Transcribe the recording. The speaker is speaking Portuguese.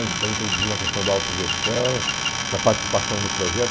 né então, introduzimos a questão da autogestão, da participação no projeto.